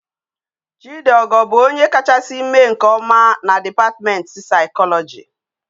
Chidiogo bu onye kachasi mee nke oma na department physiology